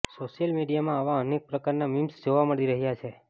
social મીડિયામાં આવા અનેક પ્રકારના મીમ્સ જોવા મળી રહ્યા છે